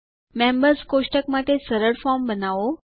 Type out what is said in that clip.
members કોષ્ટક માટે સરળ ફોર્મ બનાવો